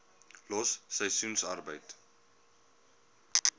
los seisoensarbeid